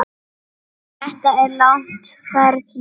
Þetta er langt ferli.